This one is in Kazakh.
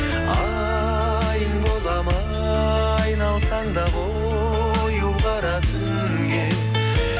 айың боламын айналсаң да қою қара түнге